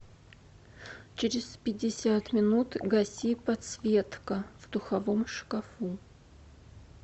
через пятьдесят минут гаси подсветка в духовом шкафу